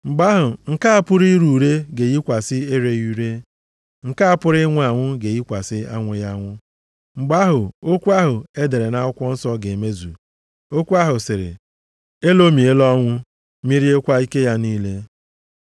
Mgbe ahụ nke a pụrụ ire ure ga-eyikwasị ereghị ure, nke a pụrụ ịnwụ anwụ ga-eyikwasị anwụghị anwụ. Mgbe ahụ, okwu ahụ e dere nʼakwụkwọ nsọ ga-emezu, okwu ahụ sịrị, “Elomiela ọnwụ, meriekwa ike ya niile.” + 15:54 \+xt Aịz 25:8\+xt*